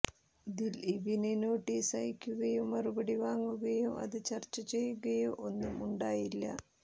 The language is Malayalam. ദിലീപിന് നോട്ടീസ് അയക്കുകയോ മറുപടി വാങ്ങുകയോ അത് ചര്ച്ച ചെയ്യുകയോ ഒന്നും ഉണ്ടായില്ല